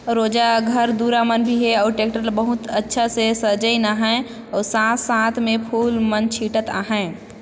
रोजा घर दूर मन भी हे और ट्रैक्टर ल बहुत अच्छा से सजाईन आहे। औ साथ-साथ में फूल मन छिटत आहे।